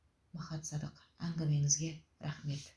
махат садық әңгімеңізге рахмет